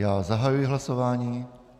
Já zahajuji hlasování.